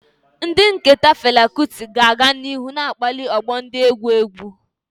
Ihe nketa Fela Kuti ga-aga n'ihu na-akpali ọgbọ ndị egwu egwu.